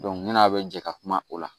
ni n'a bɛ jɛ ka kuma o la